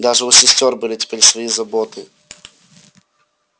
даже у сестёр были теперь свои заботы